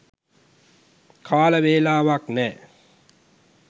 කාල වේලාවක් නෑ.